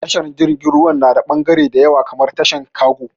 Tashar jirgin ruwa na da bagare da yawa kamar tashar kago